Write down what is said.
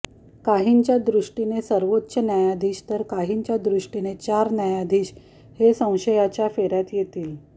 काहींच्या दृष्टीने सर्वोच्च न्यायाधीश तर काहींच्या दृष्टीने चार न्यायाधीश हे संशयाच्या फेऱ्यात येतील